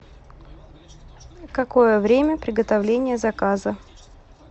какое время приготовления заказа